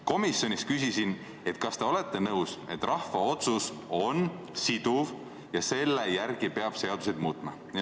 Komisjonis ma küsisin, kas te olete nõus, et rahva otsus on siduv ja selle järgi peab seadusi muutma.